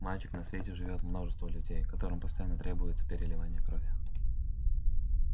мальчик на свете живёт множество людей которым постоянно требуется переливание крови